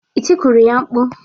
Ị tikuru ya mkpu?